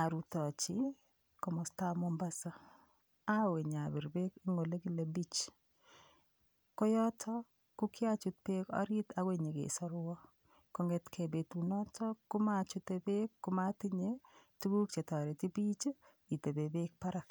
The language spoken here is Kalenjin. arutochi komostaab Mombasa awe nyabir beek eng' ole kile beach ko yoto kokiachut berk orit akoi nyikesorwo kong'etkei betunoto komachute beek komatinye tukuk chetoreti biich itebe beek barak